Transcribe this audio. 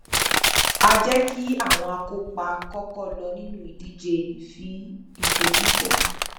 a jẹ kí àwọn akópa kọkọ lọ inú ìdíje ìfòfífò